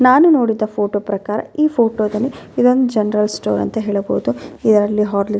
ಆದು ಜನ್ಗಳಿಗ್ ಒಂತರ ಅನುಕೂಲನೇ ಅಂತ ಹೇಳ್ಬೋದು ಬಿಸ್ಲಲ್ಲಿ ಹೊಗ್ ಬಂದೋರಿಗೆ ಸುಸ್ತಾದ್ರೆ --